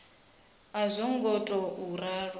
a zwo ngo tou ralo